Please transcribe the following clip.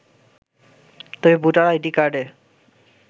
তবে voter ID কার্ডে